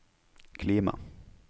klima